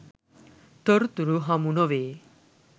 තොරතුරු හමු නොවේ.